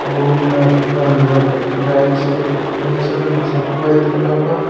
और उनमें महिंद्रा ट्रैक्टर है आयशर आयशर सब वाइट कलर का।